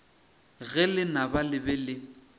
ge lenaba le be le